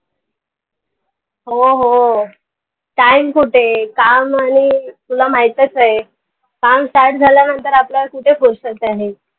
हो हो time कुठेय काम आनि तुला माहीतच आय काम start झाल्या नंतर आपल्याला कुठे फुरसत आहे.